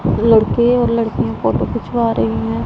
लड़के और लड़कियां फोटो खिंचवा रही हैं।